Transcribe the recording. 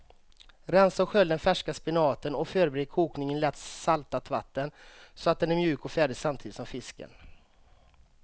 Rensa och skölj den färska spenaten och förbered kokning i lätt saltat vatten så att den är mjuk och färdig samtidigt som fisken.